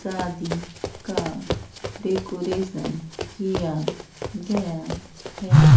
शादी का डेकोरेशन किया गया है।